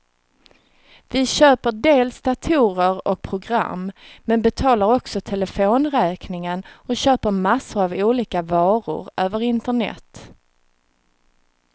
Vi köper dels datorer och program, men betalar också telefonräkningen och köper massor av olika varor över internet.